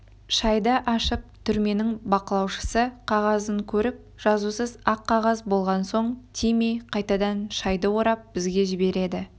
шайды ашып түрменің бақылаушысы қағазын көріп жазусыз ақ қағаз болған соң тимей қайтадан шайды орап бізге жібереді